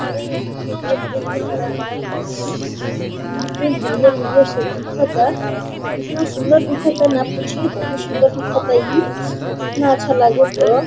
यहां पे देख -देख के हरा- हरा। यहां पे हरियर- हरियर सब दिखत है। कितना सुंदर दिखत ना पूछी। बहुत सुंदर दिखतई। इ इतना अच्छा लागता।